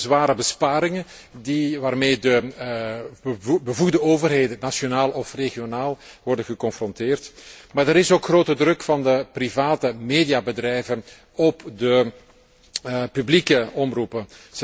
Die komt door de zware besparingen waarmee de bevoegde overheden, nationaal of regionaal, worden geconfronteerd, maar ook grote druk vanuit de private mediabedrijven op de publieke omroepen.